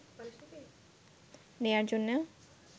নেয়ার জন্য